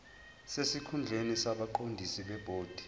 sesikhundleni kwabaqondisi bebhodi